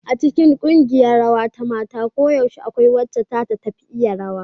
A cikin ƙungiyar rawa ta mata koyaushe akwai wacce da ta fi tafi iya rawa.